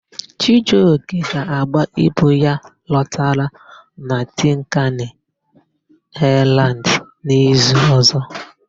Chijioke ga-agba ibu ya lọtara na Tinkani Aịlandị n'izu ọ̀zọ́.